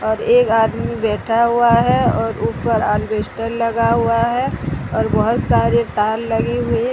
और एक आदमी बैठा हुआ है और ऊपर अलवेस्टर लगा हुआ है और बहुत सारे तार लगे हुए है।